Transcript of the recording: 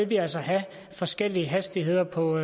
vi altså have forskellige hastigheder på